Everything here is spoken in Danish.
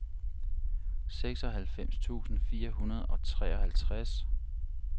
seksoghalvfems tusind fire hundrede og treoghalvtreds